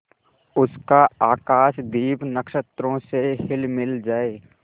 उसका आकाशदीप नक्षत्रों से हिलमिल जाए